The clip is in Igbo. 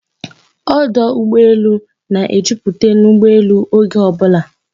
Ọdọ ụgbọelu na-ejuputa n'ụgbọelu oge ọbụla